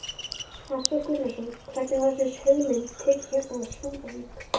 Hafþór Gunnarsson: Hvernig var þessum hugmyndum tekið hérna á Súðavík?